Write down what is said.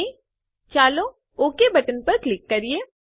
અને ચાલો okay button click કરીએ